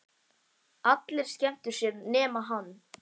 Allir skemmtu sér nema hann.